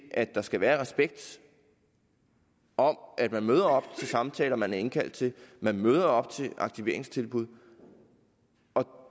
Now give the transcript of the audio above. at der skal være respekt om at man møder op til samtaler man er indkaldt til man møder op til aktiveringstilbud